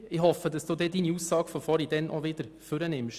Ich hoffe, dass Sie Ihre Aussage von vorhin auch später wieder machen.